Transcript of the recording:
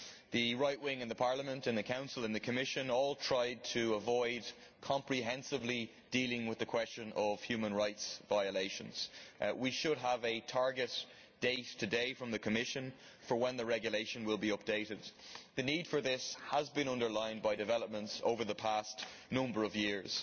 The right wing in Parliament, the Council and the Commission all tried to avoid comprehensively dealing with the question of human rights violations. We should have a target date today from the Commission for when the regulation will be updated. The need for this has been underlined by developments over the past number of years.